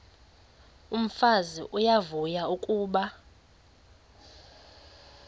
umfazi uyavuya kuba